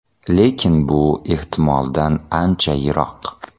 Lekin bu ehtimoldan ancha yiroq.